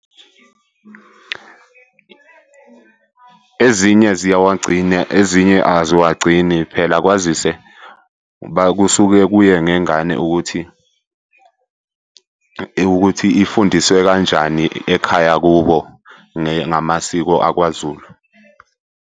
Ezinye ziyawagcina, ezinye aziwagcini phela kwazise kusuke kuye ngengane ukuthi, ukuthi ifundiswe kanjani ekhaya kubo ngamasiko akwaZulu.